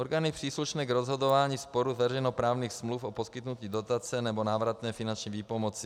Orgány příslušné k rozhodování sporu veřejnoprávních smluv o poskytnutí dotace nebo návratné finanční výpomoci.